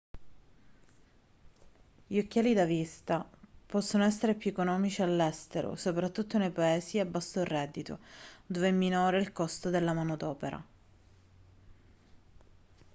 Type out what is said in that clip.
gli occhiali da vista possono essere più economici all'estero soprattutto nei paesi a basso reddito dove è minore il costo della manodopera